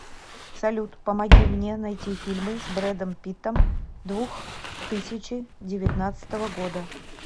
салют помоги мне найти фильмы с брэдом питтом двух тысячи девятнадцатого года